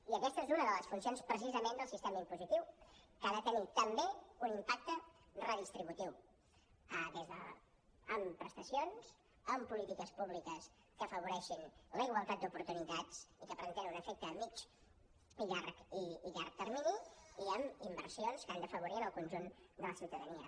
i aquesta és una de les funcions precisament del sistema impositiu que ha de tenir també un impacte redistributiu amb prestacions amb polítiques públiques que afavoreixin la igualtat d’oportunitats i que per tant tenen un efecte a mitjà i llarg termini i amb inversions que han d’afavorir el conjunt de la ciutadania